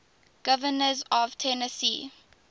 governors of tennessee